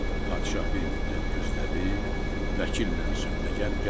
Padşah bir müddət gözlədi, vəkillə sövdəgər gəlmədi.